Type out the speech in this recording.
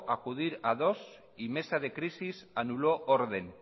acudir a dos y mesa de crisis anuló orden